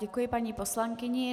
Děkuji paní poslankyni.